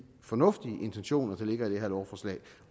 fornuftige intentioner der ligger i det her lovforslag